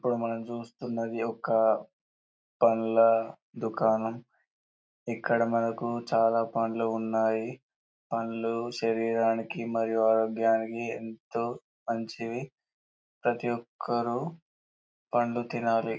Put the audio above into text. ఇక్కడ మనం చూస్తున్నది ఒక్క పండ్ల దుకాణం ఇక్కడ మనకు చాలా పండ్లు ఉన్నాయి పండ్లు శరీరానికి మరియు ఆరోగ్యానికి ఎంతో మంచివి ప్రతి ఒక్కరూ పండ్లు తినాలి.